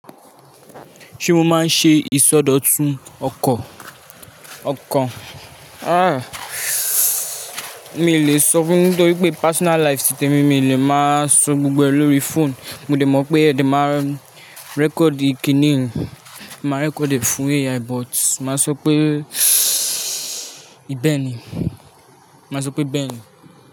Ṣé mo máa ń ṣe ìsọdọ̀tun ọkọ̀? Ọkàn? Aah, mi ò lè sọ fún ẹ nítorí pé personal life tìtẹ̀ mi, mi ò lè máa sọ gbogbo ẹ̀ lórí phone. Mo dẹ̀ mọ̀ pé ẹ̀ dẹ̀ máa record kí nìí, máa record ẹ̀ fún AI, but máa sọ pé ìbẹni, máa sọ pé bẹ́ẹ̀ni.